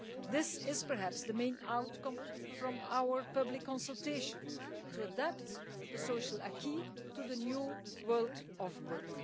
This is perhaps the main outcome from our public consultation to adapt the social acquis to the new world of work.